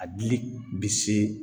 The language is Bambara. A dili bi se